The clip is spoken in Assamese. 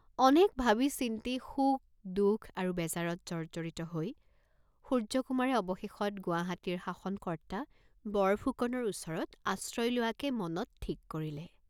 অনেক ভাবি চিন্তি শোক, দুখ আৰু বেজাৰত জৰ্জ্জৰিত হৈ সূৰ্য্যকুমাৰে অৱশেষত গুৱাহাটীৰ শাষনকৰ্ত্তা বৰফুকনৰ ওচৰত আশ্ৰয় লোৱাকে মনত থিক কৰিলে।